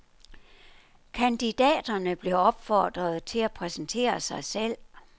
Kandidaterne blev opfordret til at præsentere sig selv.